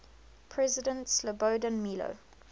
president slobodan milo